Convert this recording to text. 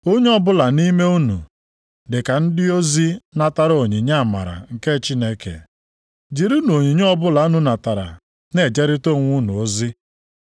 Onye ọbụla nʼime unu dịka ndị ozi natara onyinye amara nke Chineke, jirinụ onyinye ọbụla unu natara na-ejeritara onwe unu ozi.